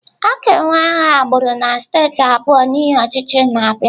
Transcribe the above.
A ga-enwe agha agbụrụ na steeti abụọ n'ihi ọchịchị na-abịa.